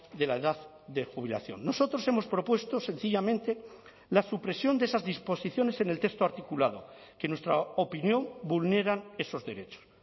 de la edad de jubilación nosotros hemos propuesto sencillamente la supresión de esas disposiciones en el texto articulado que en nuestra opinión vulneran esos derechos